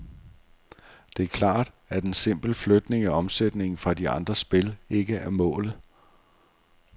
Det er klart, at en simpel flytning af omsætningen fra de andre spil ikke er målet.